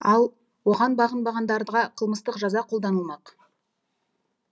ал оған бағынбағандарға қылмыстық жаза қолданылмақ